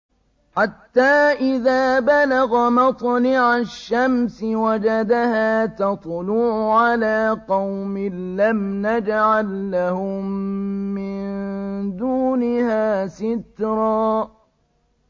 حَتَّىٰ إِذَا بَلَغَ مَطْلِعَ الشَّمْسِ وَجَدَهَا تَطْلُعُ عَلَىٰ قَوْمٍ لَّمْ نَجْعَل لَّهُم مِّن دُونِهَا سِتْرًا